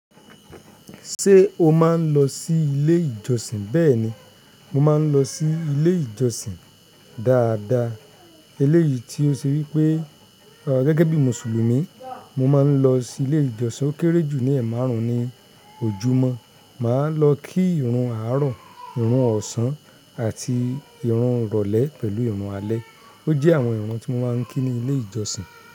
Ṣé o máa ń lọ sí ilé ìjọsìn? Bẹ́ẹ̀ni, mo máa ń lọ sí ilé ìjọsìn dáadáa. Eléyìí tí ó ṣe wípé gẹ́gẹ́ bí Mùsùlùmí, mo máa ń lọ sí ilé ìjọsìn ó kéré jù ní ẹ̀ márùn-ún ní ojúmọ́. Máa lọ kí ìrun àárọ̀, ìrun ọ̀sán àti ìrun ìrọ̀lẹ́ pẹ̀lú ìrun alẹ́. Ójẹ́ àwọn ìrun tí mo máa ń kí ní ilé ìjọsìn.